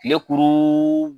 Kile kuuru